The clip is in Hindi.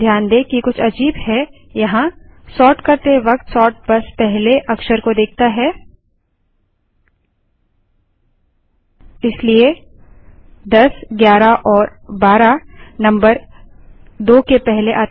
ध्यान दें कि कुछ अजीब है यहाँसोर्ट करते वक्त सोर्ट बस पहले अक्षर को देखता हैइसलिए 1011एएमपी12 नम्बर 2 के पहले आता है